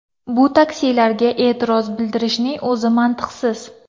Bu taksilarga e’tiroz bildirishning o‘zi mantiqsiz.